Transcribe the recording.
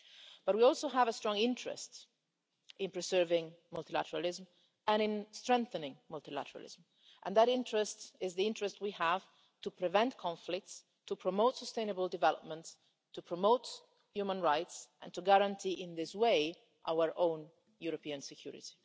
But we also have a strong interest in preserving multilateralism and in strengthening multilateralism namely, the interest that we have to prevent conflicts, to promote sustainable development, to promote human rights and to guarantee, in this way, our own European security.